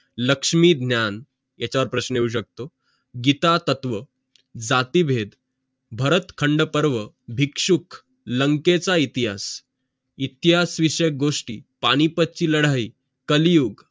लक्ष्मी ज्ञान इथंच प्रश्न येऊ शकतो कितातत्व ताटी भेद भरत खंड पर्व भिक्षुक लंकेचा इतिहास इतिहास विषयी गोष्टी पानिपत ची लडाई कालयुग